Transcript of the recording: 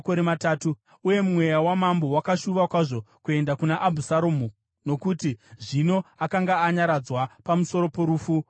Uye mweya wamambo wakashuva kwazvo kuenda kuna Abhusaromu, nokuti zvino akanga anyaradzwa pamusoro porufu rwaAmunoni.